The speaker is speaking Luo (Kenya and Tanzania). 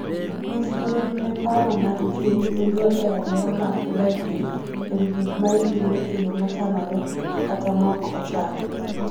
Nyis luor ne paro ma ji nigo e alwora ma udakie e wi gik ma itimo e yo mochanore kata maok ochan.